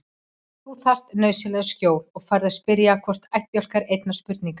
Þú þarft nauðsynlega skjól og færð að spyrja hvorn ættbálk einnar spurningar.